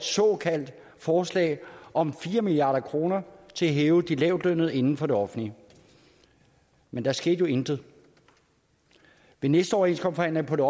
forslag om fire milliard kroner til at hæve de lavtlønnede inden for det offentlige men der skete jo intet ved næste overenskomstforhandling på det